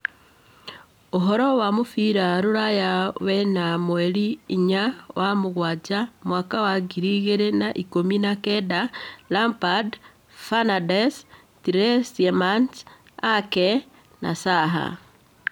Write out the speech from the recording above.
Ũhoro wa mũbira rũraya wena mweri inya wa-mũgwanja Mwaka wa ngiri igĩrĩ na ikũmi na kenda: Lampard, Fernandes, Tielemans, Ake, Zaha